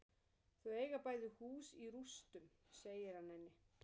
Þau eiga bæði hús í rústum, segir hann henni.